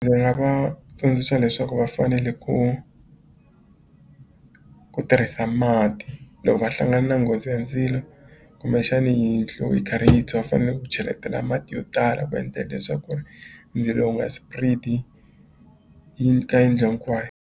Ndzi nga va tsundzuxa leswaku va fanele ku ku tirhisa mati loko va hlangana na nghozi ya ndzilo kumbexani yindlu yi karhi yi tshwa fanele ku cheletela mati yo tala ku endlela leswaku ku ri ndzilo wu nga spread-i ka yindlu hinkwayo.